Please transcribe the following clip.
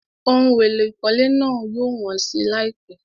Ohun èlò ìkọ́lé náà yóò wọ́n si láìpẹ́.